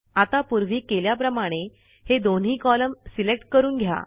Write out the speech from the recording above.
आता पूर्वी केल्याप्रमाणे हे दोन्ही कॉलम सिलेक्ट करून घ्या